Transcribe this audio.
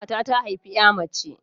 Ƙanwata ta haifi 'ya mace.